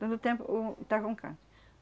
Todo o tempo um está com câncer.